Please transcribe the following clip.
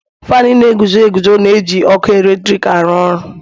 Faanụ na-eguzo eguzo na-eji ọkụ eletrik aru oru.